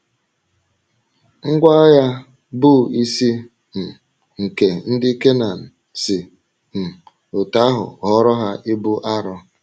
Ngwá agha bụ́ isi um nke ndị Kenan si um otú ahụ ghọọrọ ha ibu arọ.